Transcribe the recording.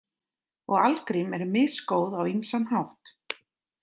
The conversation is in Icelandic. Og algrím eru misgóð á ýmsan hátt.